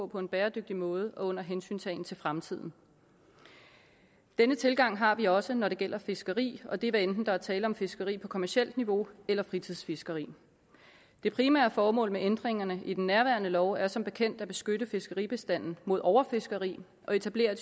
på en bæredygtig måde og under hensyntagen til fremtiden denne tilgang har vi også når det gælder fiskeri og det er hvad enten der er tale om fiskeri på kommercielt niveau eller fritidsfiskeri det primære formål med ændringerne i den nærværende lov er som bekendt at beskytte fiskeribestanden mod overfiskeri og etablere